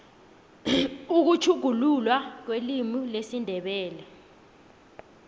ukutjhuguluka kwelimu lesindebele